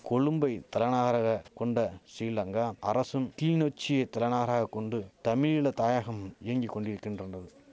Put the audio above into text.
கொலும்பை தலநகராக கொண்ட சிலங்கா அரசும் கிள்நொச்சிய தலநகராக கொண்டு தமிழீல தாயகம் இயங்கி கொண்டிருக்கின்றறது